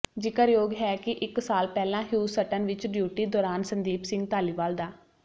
ਜ਼ਿਕਰਯੋਗ ਹੈ ਕਿ ਇੱਕ ਸਾਲ ਪਹਿਲਾਂ ਹਿਊਸਟਨ ਵਿੱਚ ਡਿਊਟੀ ਦੌਰਾਨ ਸੰਦੀਪ ਸਿੰਘ ਧਾਲੀਵਾਲ ਦਾ